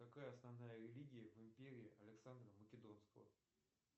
какая основная религия в империи александра македонского